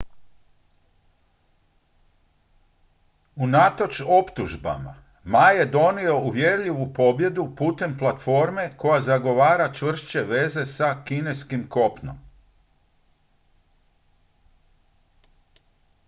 unatoč optužbama ma je odnio uvjerljivu pobjedu putem platforme koja zagovara čvršće veze s kineskim kopnom